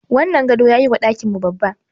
Wannan gado yayi wa ɗakin mu babba.